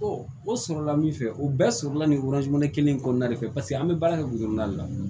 o sɔrɔla min fɛ o bɛɛ sɔrɔla nin kelen in kɔnɔna de fɛ paseke an bɛ baara kɛ de la